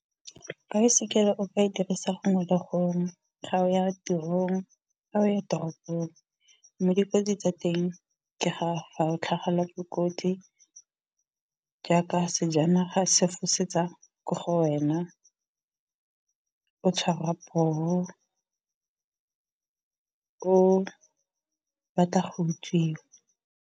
Baesekele o ka e dirisa gongwe le gongwe ga o ya tirong, ga o ya toropong. Mme dikotsi tsa teng ke ga fa o tlhagelwa ke kotsi jaaka sejanaga se fosetsa ko go wena, o tshwarwa poo, o batla go utswiwa.